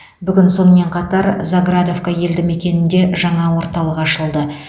бүгін сонымен қатар заградовка елді мекенінде жаңа орталық ашылды